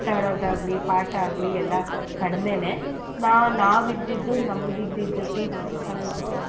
ಆಟಾಡದಾಗ್ಲಿ ಪಾಠ ಆಗ್ಲಿ ಎಲ್ಲಾ ಕಡ್ಮೆನೆ ನಾ~ ನಾವಿದ್ದಿದ್ದು ನಮಿಗಿದ್ದಿದ್ teachers ಆಗ್ಬೋದು.